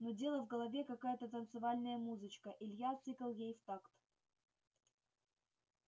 нудела в голове какая-то танцевальная музычка илья цыкал ей в такт